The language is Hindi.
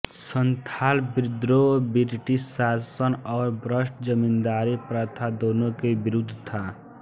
सन्थाल विद्रोह ब्रिटिश शासन और भ्रष्ट जमींदारी प्रथा दोनों के विरुद्ध था